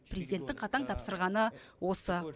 президенттің қатаң тапсырғаны осы